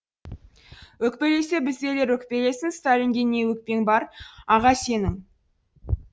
өкпелесе біздейлер өкпелесін сталинге не өкпең бар аға сенің